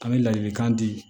An bɛ ladilikan di